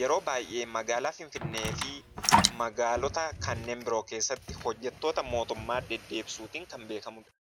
yeroo baay'ee magaalaa Finfinnee fi magaalota kanneen biroo keessatti hojjattoota mootummaa deddeebisuun kan beekamuudha.